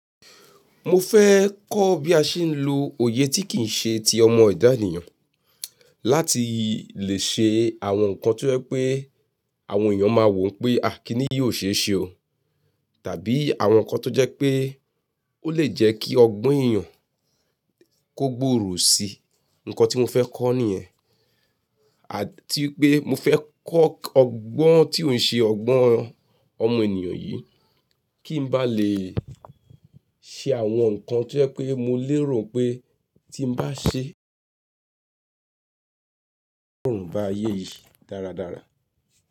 Mo fẹ́ kọ́ bí a ṣe ń lo òye tí kìí ṣe ti ọmọ èdè ènìyàn láti lè ṣe àwọn nǹkan tí ó jẹ́ pé àwọn èèyàn máa wò wípé, "À kínní yóò ṣe é ṣe o" tàbí àwọn nǹkan tó jẹ́ pé ó lè jẹ́ kí ọgbọ́n èèyàn kó gbòòrò sí I. Ǹkan tí mo fẹ́ kọ́ nìyẹn. Àti pé mo fẹ́ kọ́ ọgbọ́n tí ó ń ṣe ọgbọ́n ọmọ ènìyàn yìí, kí n bá lè ṣe àwọn nǹkan tí ó jẹ́ pé mo lérò pé tí m bá ṣe, Wón bá ayé yìí dáradára.